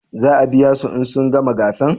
Za a biya su in sun gama gasan?